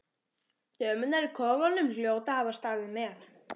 Dömurnar í kofanum hljóta að hafa staðið með